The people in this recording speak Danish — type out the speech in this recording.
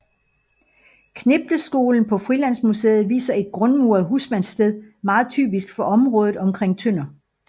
Knipleskolen på Frilandsmuseet viser et grundmuret husmandssted meget typisk for området omkring Tønder